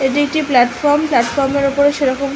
এটি একটি প্লাটফর্ম । প্লাটফর্মের ওপর সেরকম--